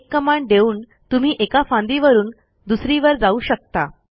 एक कमांड देऊन तुम्ही एका फांदीवरून दुसरीवर जाऊ शकता